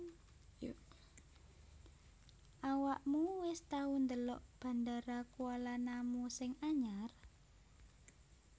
Awakmu wis tau ndelok Bandara Kuala Namu sing anyar